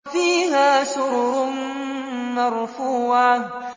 فِيهَا سُرُرٌ مَّرْفُوعَةٌ